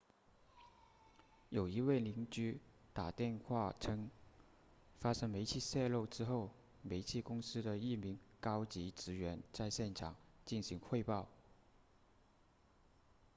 在一位邻居打电话称发生煤气泄漏之后煤气公司的一名高级职员在现场进行汇报